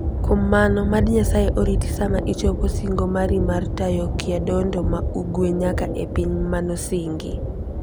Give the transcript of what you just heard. Kuom mano, mad Nyasaye oriti sama ichopo singo mari mar tayo Kyadondo ma Ugwe nyaka e Piny Manosingi.